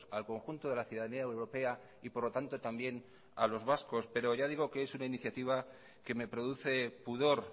al conjunto de la ciudadanía europea y por lo tanto también a los vascos pero ya digo que es una iniciativa que me produce pudor